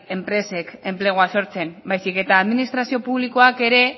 enpresek enplegua sortzen baizik eta administrazio publikoak ere